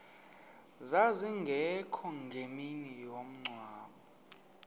zazingekho ngemini yomngcwabo